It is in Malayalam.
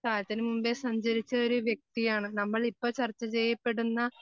കാലത്തിനു മുമ്പേ സഞ്ചരിച്ച ഒരു വ്യക്തിയാണ് നമ്മളിപ്പോ ചർച്ച ചെയ്യപ്പെടുന്ന